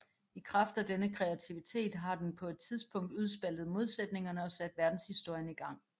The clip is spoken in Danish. I kraft af denne kreativitet har den på et tidspunkt udspaltet modsætningerne og sat verdenshistorien i gang